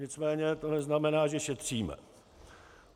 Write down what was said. Nicméně to neznamená, že šetříme.